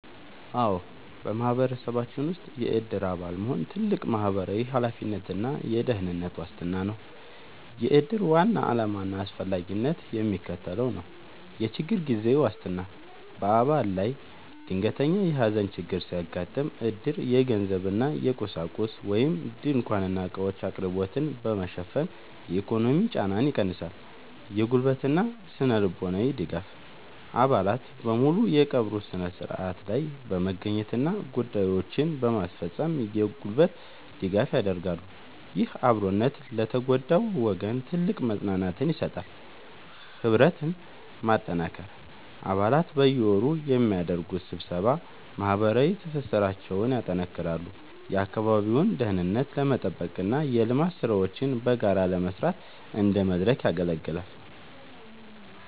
አዎ፣ በማህበረሰባችን ውስጥ የዕድር አባል መሆን ትልቅ ማህበራዊ ኃላፊነትና የደህንነት ዋስትና ነው። የዕድር ዋና ዓላማና አስፈላጊነት የሚከተለው ነው፦ የችግር ጊዜ ዋስትና፦ በአባል ላይ ድንገተኛ የሐዘን ችግር ሲያጋጥም፣ ዕድር የገንዘብና የቁሳቁስ (ድንኳንና ዕቃዎች) አቅርቦትን በመሸፈን የኢኮኖሚ ጫናን ይቀንሳል። የጉልበትና ስነ-ልቦናዊ ድጋፍ፦ አባላት በሙሉ በቀብሩ ሥነ ሥርዓት ላይ በመገኘትና ጉዳዮችን በማስፈጸም የጉልበት ድጋፍ ያደርጋሉ። ይህ አብሮነት ለተጎዳው ወገን ትልቅ መጽናናትን ይሰጣል። ህብረትን ማጠናከር፦ አባላት በየወሩ በሚያደርጉት ስብሰባ ማህበራዊ ትስስራቸውን ያጠናክራሉ፤ የአካባቢውን ደህንነት ለመጠበቅና የልማት ሥራዎችን በጋራ ለመስራት እንደ መድረክ ያገለግላል።